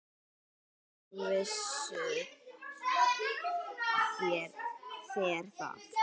Hvernig vissuð þér það?